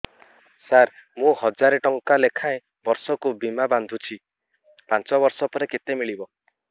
ସାର ମୁଁ ହଜାରେ ଟଂକା ଲେଖାଏଁ ବର୍ଷକୁ ବୀମା ବାଂଧୁଛି ପାଞ୍ଚ ବର୍ଷ ପରେ କେତେ ମିଳିବ